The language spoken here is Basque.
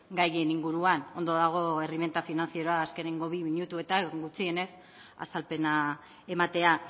gaien inguruan ondo dago erreminta finantzieroa azkeneko bi minutuetan gutxienez azalpena ematea